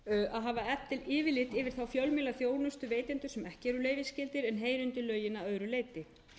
að hafa yfirlit yfir þá fjölmiðlaþjónustuveitendur sem ekki eru leyfisskyldir en heyra undir lögin að öðru leyti